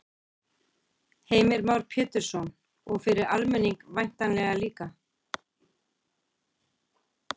Heimir Már Pétursson: Og fyrir almenning væntanlega líka?